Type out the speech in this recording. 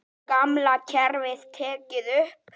Gamla kerfið tekið upp?